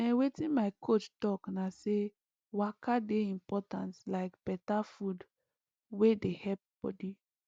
ehn wetin my coach talk na say waka dey important like better food wey dey help body